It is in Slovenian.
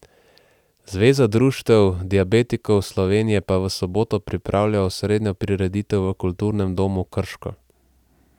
Zveza društev diabetikov Slovenije pa v soboto pripravlja osrednjo prireditev v Kulturnem domu Krško.